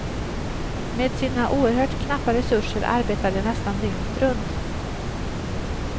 Med sina oerhört knappa resurser arbetar de nästan dygnet runt.